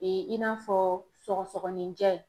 Ee i n'a fɔ sɔgɔsɔgɔninjɛ